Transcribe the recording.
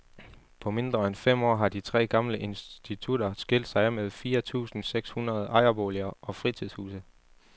På mindre end fem år har de tre gamle institutter skilt sig af med fire tusinde seks hundrede ejerboliger og fritidshuse.